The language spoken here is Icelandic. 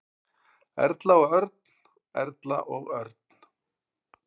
Erla og Örn. Erla og Örn.